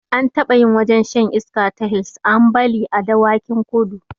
An taɓa yin wajen shan iska ta hils ambali a dawakin kudu